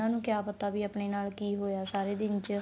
ਉਹਨਾ ਨੂੰ ਕਿਆ ਪਤਾ ਵੀ ਆਪਣੇ ਨਾਲ ਕੀ ਹੋਇਆ ਸਾਰੇ ਦਿਨ ਚ